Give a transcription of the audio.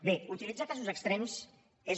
bé utilitzar casos extrems és